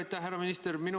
Aitäh, härra minister!